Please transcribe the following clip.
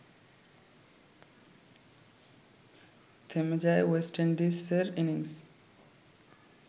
থেমে যায় ওয়েস্ট ইন্ডিজের ইনিংস